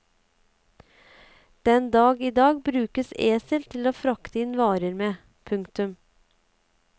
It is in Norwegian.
Den dag i dag brukes esel til å frakte inn varer med. punktum